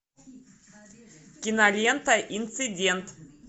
кинолента инцидент